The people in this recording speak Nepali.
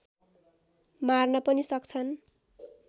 मार्न पनि सक्छन्